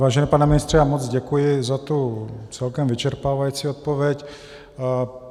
Vážený pane ministře, já moc děkuji za tu celkem vyčerpávající odpověď.